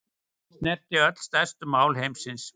Snerta öll stærstu mál heimsins